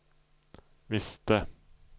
visste